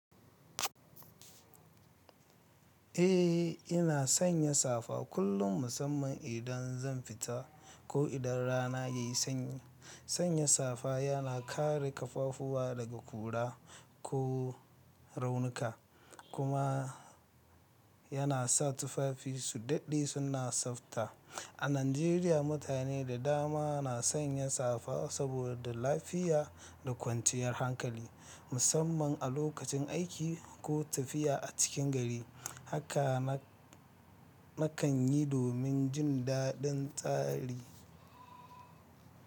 Eh, ina sanya safa kullum musamman idan zanfita ko idan rana yayi sanyi. Sanya safa yana kare kafafuwa daga ƙura ko raunuka kuma yana sa tufafi su dade suna tsafta. A Najeriya mutane da dama na sanya safa saboda lafiya da kwanciyar hankali, musamman a lokacin aiki ko tafiya a cikin gari. Haka na kanyi domin jin daɗin tsari.